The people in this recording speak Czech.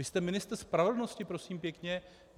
Vy jste ministr spravedlnosti, prosím pěkně!